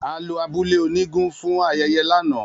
A lo abule onigun fun ayeye lana.